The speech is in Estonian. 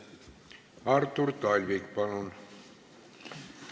Artur Talvik, palun!